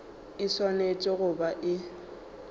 e swanetše go ba e